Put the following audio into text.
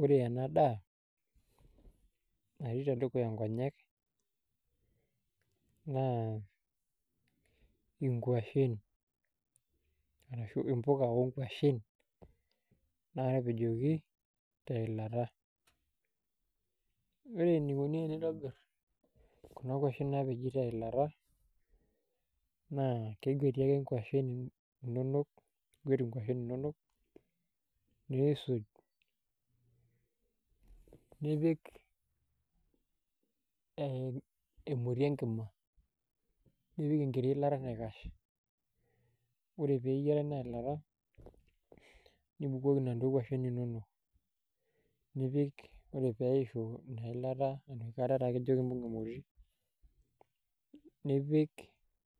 Ore ena daa natii tedukuya nkonyek naa nkuashen arashu mpuka onkuashen naatapejoki teilata ore enikoni tenintobirr kuna kuashen naatapejoki teilata naa keguati ake nkuashen, iguaet nkuashen inonok niisuj nipik emoti enkima nipik enkiti ilta naikash, ore pee eyiara ina ilata nibukoki inaduoo kuashen inonok nipik ore pee eishu ina ilata enoshi kata taa itapala meteyiarakinoyu nipik